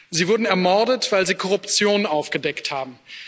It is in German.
Sie wurden ermordet, weil sie Korruption aufgedeckt haben.